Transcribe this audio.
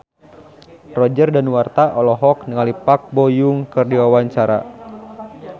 Roger Danuarta olohok ningali Park Bo Yung keur diwawancara